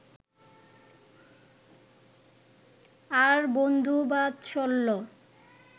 আর বন্ধুবাৎসল্য